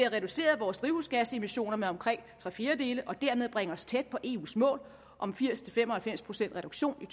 reduceret vores drivhusgasemissioner med omkring tre fjerdedele og dermed bringe os tæt på eus mål om firs til fem og halvfems procent reduktion i